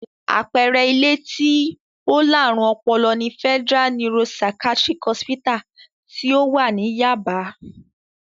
Àpẹẹrẹ ilé àwọn tí ó láárùn ọpọlọ ni Federal Neuro-Psychatric Hospital tí ó wà ní Yáàbá.